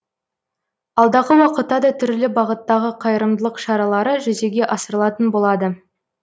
алдағы уақытта да түрлі бағыттағы қайырымдылық шаралары жүзеге асырылатын болады